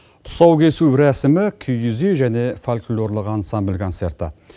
тұсаукесу рәсімі киіз үй және фольклорлық ансамбль концерті